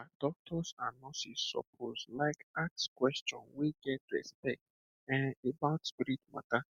um doctor and nurse suppose like ask question wey get respect[um]about spirit matter